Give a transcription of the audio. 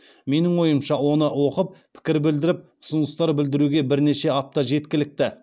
менің ойымша оны оқып пікір білдіріп ұсыныстар білдіруге бірнеше апта жеткілікті